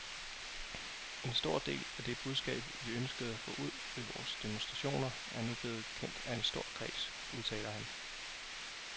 En stor del af det budskab, vi ønskede at få ud ved vores demonstrationer, er nu blevet kendt af en stor kreds, udtaler han.